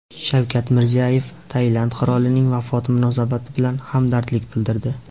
Shavkat Mirziyoyev Tailand qirolining vafoti munosabati bilan hamdardlik bildirdi.